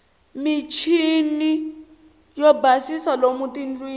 muchiniwo yo basisa lomu tindlwini